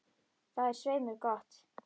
Það er svei mér gott.